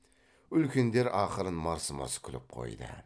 үлкендер ақырын мырс мырс күліп қойды